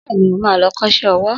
Bẹ́ẹ̀ni, mo ma lọ kọ́ṣẹ́ owó